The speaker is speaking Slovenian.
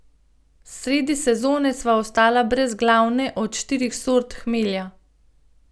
Sredi sezone sva ostala brez glavne od štirih sort hmelja.